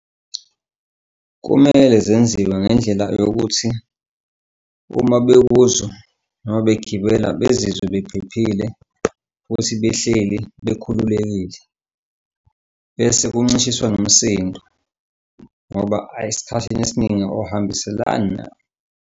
Kumele zenziwe ngendlela yokuthi uma bebuzwa noma begibela bezizwe bephephile futhi behleli bekhululekile bese kuncishiswa nomsindo, ngoba ayi, esikhathini esiningi awuhambiselani .